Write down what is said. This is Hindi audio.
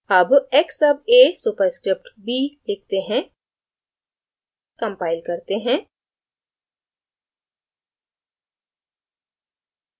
अब x sub a superscript b लिखते हैं; compile करते हैं